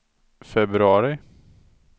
februari